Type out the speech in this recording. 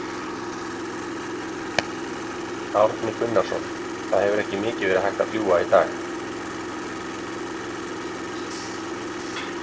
Árni Gunnarsson, það hefur ekki mikið verið hægt að fljúga í dag?